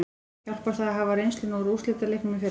Hjálpar það að hafa reynsluna úr úrslitaleiknum í fyrra?